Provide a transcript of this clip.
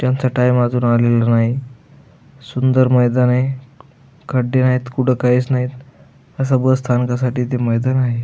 त्यांचा टाइम अजून आलेला नाही सुंदर मैदानय खड्डे नाहीत कुठ काहीच नाहीत अस बसस्थानकासाठी ते मैदान आहे.